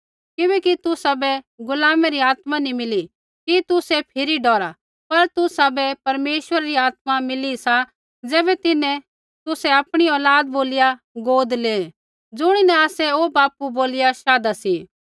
किबैकि तुसाबै गुलामे री आत्मा नी मिली कि तुसै फिरी डौरा पर तुसाबै परमेश्वरा री आत्मा मिली सा ज़ैबै तिन्हैं तुसै आपणी औलाद बोलिया गोद लेऐ ज़ुणीन आसै ओ बापू बोलिया शाधा सी